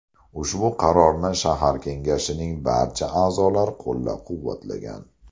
Ushbu qarorni shahar kengashining barcha a’zolari qo‘llab-quvvatlagan.